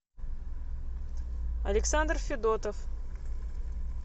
александр федотов